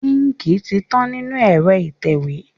Íńkì ti tán nínú ẹ̀rọ ìtẹ̀wé.